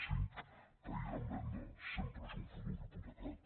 cinc país en venda sempre és un futur hipotecat